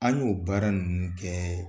An y'o baara ninnu kɛ.